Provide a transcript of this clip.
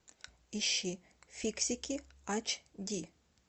ищи фиксики ач ди